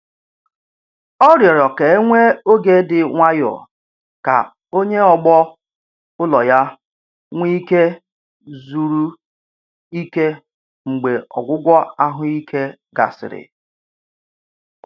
Ọ rịọrọ ka e nwee oge dị nwayọ ka onye ọgbọ ulọ ya nwee ike zuru ike mgbe ọgwụgwọ ahụike gasịrị.